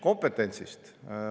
Kompetentsist.